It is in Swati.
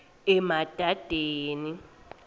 emadadeni